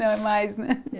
Não, é mais, né?